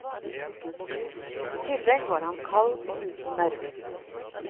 I tillegg var han kald og uten nerver.